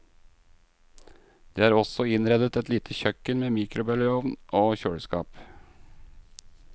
Det er også innredet et lite kjøkken med mikrobølgeovn og kjøleskap.